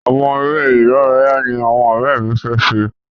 Àwọn eré ìdáraya ní àwọn òré mí fẹ ṣe.